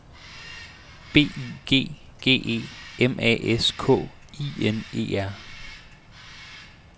B Y G G E M A S K I N E R